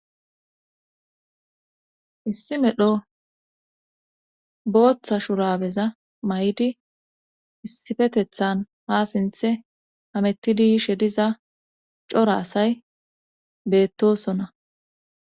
issi medho booththa shurabeza may7di issifetethan ha sinthe hamettidishediza cora asay beettosona